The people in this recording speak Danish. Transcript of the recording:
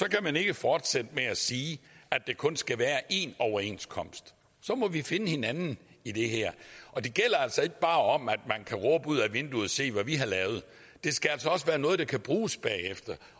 kan man ikke fortsætte med at sige at der kun skal være én overenskomst så må vi finde hinanden i det her og det gælder altså ikke bare om at man kan råbe ud ad vinduet se hvad vi har lavet det skal altså også være noget der kan bruges bagefter